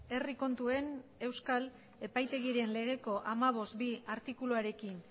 herri kontuen euskal epaitegiren legeko hamabost barra bi artikuluarekin